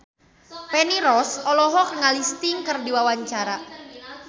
Feni Rose olohok ningali Sting keur diwawancara